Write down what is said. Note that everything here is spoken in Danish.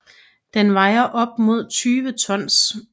Den vejer op mod 20 tons